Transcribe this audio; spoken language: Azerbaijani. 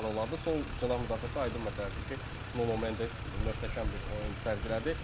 Sol cinah müdafiəsi aydın məsələdir ki, Nuno Mendes möhtəşəm bir oyun sərgilədi.